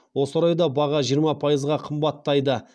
осы орайда баға жиырма пайызға қымбаттайды